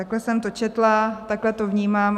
Takhle jsem to četla, takhle to vnímám.